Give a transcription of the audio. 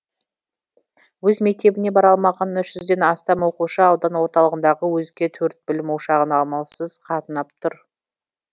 өз мектебіне бара алмаған үш жүзден астам оқушы аудан орталығындағы өзге төрт білім ошағына амалсыз қатынап жүр